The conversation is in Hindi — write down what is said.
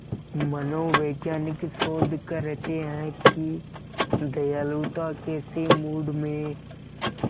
मनोवैज्ञानिक शोध करते हैं कि दयालुता कैसे मूड में